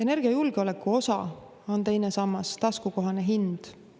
Energiajulgeoleku osa on teine sammas: taskukohane hind.